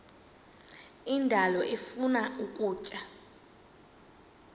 indalo ifuna ukutya